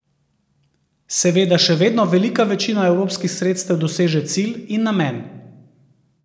Seveda še vedno velika večina evropskih sredstev doseže cilj in namen.